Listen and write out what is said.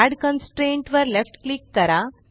add constraint वर left click करा